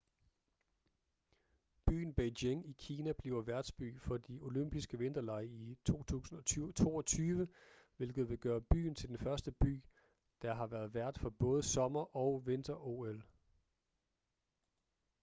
byen beijing i kina bliver værtsby for de olympiske vinterlege i 2022 hvilket vil gøre byen til den første by der har været vært for både sommer- og vinter-ol